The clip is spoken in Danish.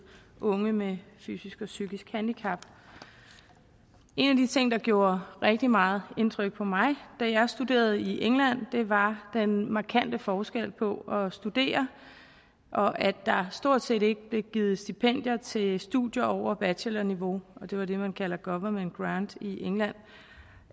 unge med fysisk og psykisk handicap en af de ting der gjorde rigtig meget indtryk på mig da jeg studerede i england var den markante forskel på at studere og at der stort set ikke blev givet stipendier til studier over bachelorniveau og det er det man kalder government grant i england